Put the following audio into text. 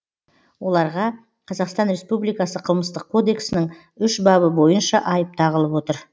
оларға қазақстан республикасы қылмыстық кодексінің үш бабы бойынша айып тағылып отыр